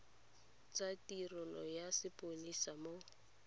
tsa tirelo ya sepodisi mo